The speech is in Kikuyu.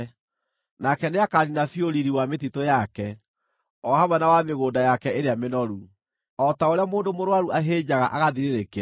Nake nĩakaniina biũ riiri wa mĩtitũ yake, o hamwe na wa mĩgũnda yake ĩrĩa mĩnoru, o ta ũrĩa mũndũ mũrũaru ahĩnjaga agathirĩrĩkĩra.